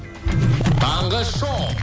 таңғы шоу